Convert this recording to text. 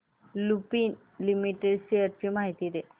Lupin limited shares ची माहिती दे